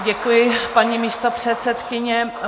Děkuji, paní místopředsedkyně.